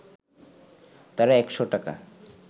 তারা একশ’ টাকা